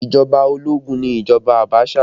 Ìjọba ológun ni ìjọba Abaṣa